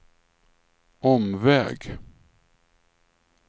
omväg